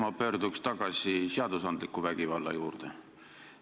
Ma pöördun tagasi seadusandliku vägivalla juurde.